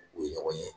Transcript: U ye ɲɔgɔn ye